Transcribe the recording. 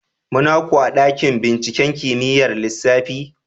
Muna ku a dakin binciken kimiyyar lissafi?